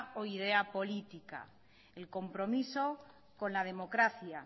o idea política el compromiso con la democracia